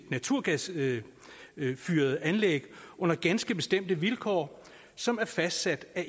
naturgasfyrede anlæg under ganske bestemte vilkår som er fastsat af